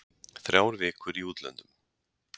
Þrjár vikur í útlöndum.